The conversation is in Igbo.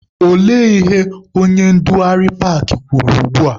Olee ihe onye ndugharị paakị kwuru ugbua?